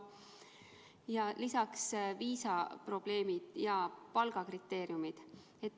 Ja lisaks viisaprobleemid ja palgakriteeriumid.